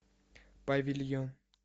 павильон